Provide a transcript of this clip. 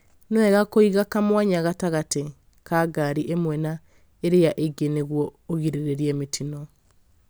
Nĩ wega kũiga kamwanya gatagatĩ ka ngari imwe na iria ingĩ nĩguo ũgirĩrĩrie mĩtino